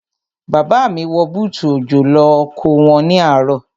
Bàbá mi wọ bútù òjò lọ oko wọn ní àárọ̀.